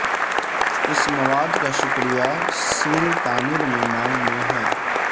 اس مواد کا شکریہ سول تعمیر میں مانگ میں ہے